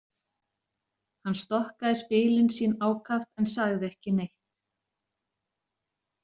Hann stokkaði spilin sína ákaft en sagði ekki neitt.